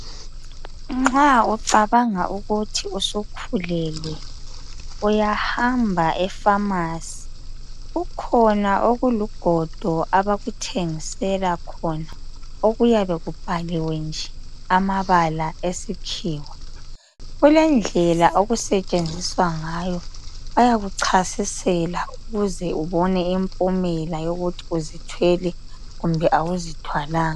Nxa ucabanga ukuthi usukhulelwe, uyahamba efamasi. Kukhona okulugodo abakuthengisela khona okuyabe kubhaliwe nje amabala esikhiwa. Kulendlela okusetshenziswa ngayo. Ayakuchasisela ukuze ubone umphumela wokuthi uzithwele kumbe awuzithwalanga.